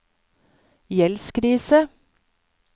gjeldskrise